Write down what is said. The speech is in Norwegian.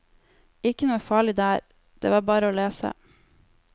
Ikke noe farlig der, det var bare å lese.